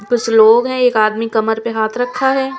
कुछ लोग है एक आदमी कमर पे हाथ रखा है।